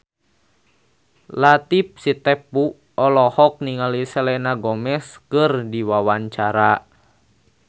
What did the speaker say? Latief Sitepu olohok ningali Selena Gomez keur diwawancara